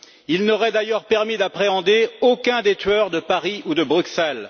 Il n'aurait d'ailleurs permis d'appréhender aucun des tueurs de Paris ou de Bruxelles.